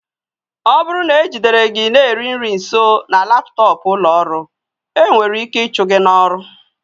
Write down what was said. Ọ bụrụ na e jidere gị na-eri nri nso na laptọọpụ ụlọ ọrụ, ị nwere ike ịchụ gị n'ọrụ